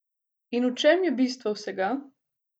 In v čem je bistvo vsega?